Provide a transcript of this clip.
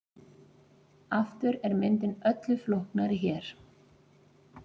Aftur er myndin öllu flóknari hér.